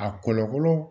A kɔlɔlɔ